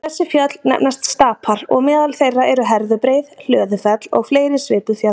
Þessi fjöll nefnast stapar og meðal þeirra eru Herðubreið, Hlöðufell og fleiri svipuð fjöll.